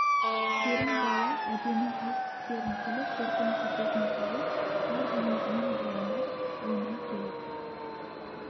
керімбала әдемі ақ тістерін күліп бөркін шекесіне салып бар денесімен бұраңдап ойнай келіп